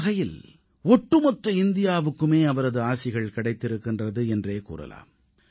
ஒருவகையில் ஒட்டுமொத்த இந்தியாவுக்குமே அவரது ஆசிகள் கிடைத்திருக்கின்றது என்றே கூறலாம்